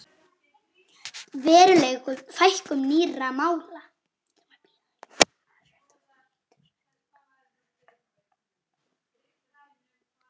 Veruleg fækkun nýrra mála